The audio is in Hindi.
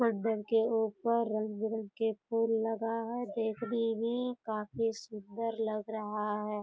चद्दर के ऊपर रंग-बिरंग के फूल लगा है देखने में काफी सुन्दर लग रहा है।